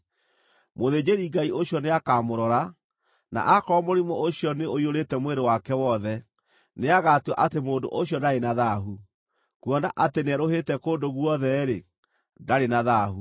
mũthĩnjĩri-Ngai ũcio nĩakamũrora, na aakorwo mũrimũ ũcio nĩ ũiyũrĩte mwĩrĩ wake wothe, nĩagatua atĩ mũndũ ũcio ndarĩ na thaahu. Kuona atĩ nĩerũhĩte kũndũ guothe-rĩ, ndarĩ na thaahu.